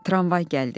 Tramvay gəldi.